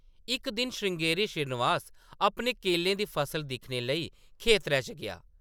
इक दिन श्रृंगेरी श्रीनिवास अपने केलें दी फसल दिक्खने लेई खेतरै च गेआ ।